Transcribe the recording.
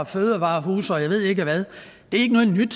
fødevarehuse og jeg ved ikke hvad det er ikke noget nyt